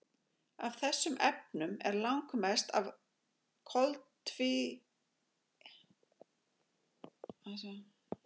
Af þessum efnum er langmest af koltvíildi.